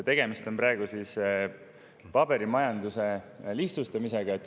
Tegemist on paberimajanduse lihtsustamisega.